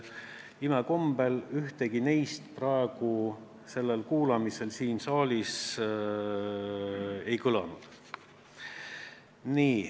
Imekombel ükski neist praegu sellel kuulamisel siin saalis ei kõlanud.